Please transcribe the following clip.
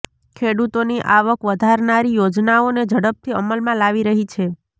ખેડૂતોની આવક વધારનારી યોજનાઓને ઝડપથી અમલમાં લાવી રહી છે